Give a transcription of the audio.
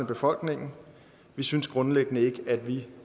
befolkningens vi synes grundlæggende ikke at vi